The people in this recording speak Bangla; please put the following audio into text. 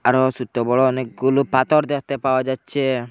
আরো সোট্ট বড়ো অনেকগুলো পাতর দেততে পাওয়া যাচ্চে ।